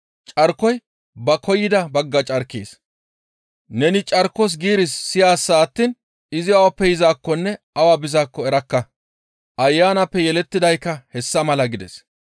Carkoy ba koyida bagga carkees; neni carkos giiris siyaasa attiin izi awappe yizaakkonne awa bizaakko erakka. Ayanappe yelettidaykka hessa mala» gides.